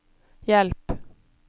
hjelp